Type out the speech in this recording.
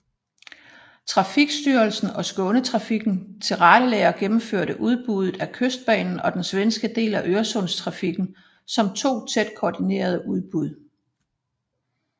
Trafikstyrelsen og Skånetrafiken tilrettelagde og gennemførte udbuddet af Kystbanen og den svenske del af Øresundstrafikken som to tæt koordinerede udbud